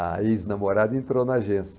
A ex-namorada entrou na agência.